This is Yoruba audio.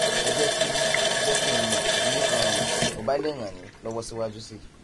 um ẹ jẹ kí jẹ kí n mọ bí um mo bá lè ràn yín lọwọ síwájú sí i